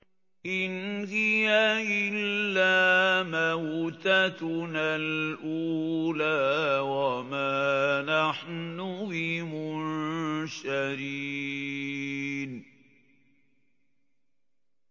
إِنْ هِيَ إِلَّا مَوْتَتُنَا الْأُولَىٰ وَمَا نَحْنُ بِمُنشَرِينَ